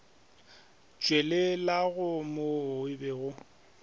tšwelelago mo o be o